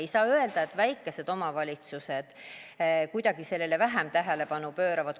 Ei saa öelda, et väikesed omavalitsused kuidagi sellele vähem tähelepanu pööravad.